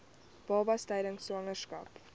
babas tydens swangerskap